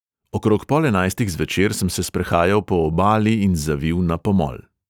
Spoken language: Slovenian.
Okrog pol enajstih zvečer sem se sprehajal po obali in zavil na pomol.